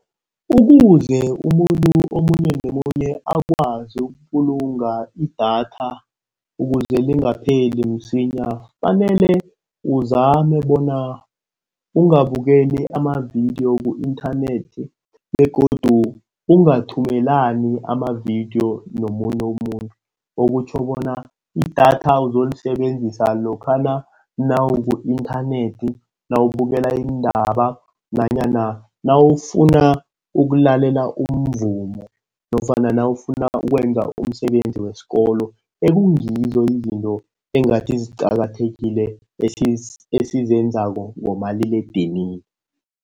Ukuze umuntu omunye nomunye akwazi ukubulunga idatha, ukuze lingapheli msinya fanele uzame bona angabukeli amavidiyo ku-inthanethi begodu ungathumelani amavidiyo nomunye umuntu. Okutjho bona idatha uzolisebenzisa lokhana nawuku-inthanethi, nawubukela iindaba nanyana nawufuna ukulalela umvumo nofana nawufuna ukwenza umsebenzi wesikolo. Ekungizo izinto engathi ziqakathekile esizenzako ngomaliledinini.